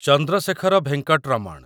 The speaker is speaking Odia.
ଚନ୍ଦ୍ରଶେଖର ଭେଙ୍କଟ ରମଣ